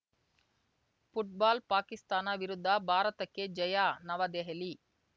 football Pakistan ವಿರುದ್ಧ ಭಾರತಕ್ಕೆ ಜಯ ನವದೆಹಲಿ